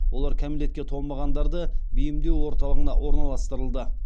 олар кәмелетке толмағандарды бейімдеу орталығына орналастырылды